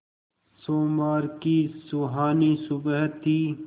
सोमवार की सुहानी सुबह थी